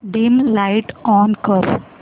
dim light on कर